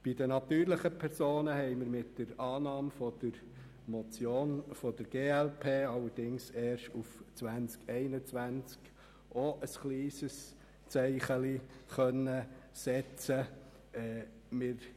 Bei den natürlichen Personen konnten wir mit der Annahme der Motion der glp ebenfalls ein kleines Zeichen setzen, allerdings erst auf 2021.